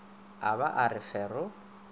a ba a re fero